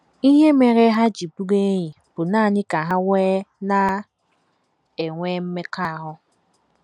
Ihe mere ha ji bụrụ enyi bụ nanị ka ha wee na - enwe mmekọahụ. ’